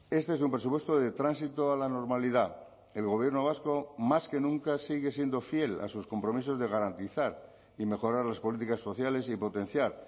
este es un presupuesto de tránsito a la normalidad el gobierno vasco más que nunca sigue siendo fiel a sus compromisos de garantizar y mejorar las políticas sociales y potenciar